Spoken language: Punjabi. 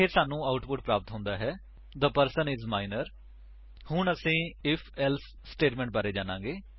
ਇਹ ਸਾਨੂੰ ਆਉਟਪੁਟ ਪ੍ਰਾਪਤ ਹੁੰਦਾ ਹੈ ਥੇ ਪਰਸਨ ਆਈਐਸ ਮਾਈਨਰ ਹੁਣ ਅਸੀ ਆਈਐਫ ਏਲਸੇ ਸਟੇਟਮੇਂਟ ਦੇ ਬਾਰੇ ਵਿੱਚ ਸਿਖਾਂਗੇ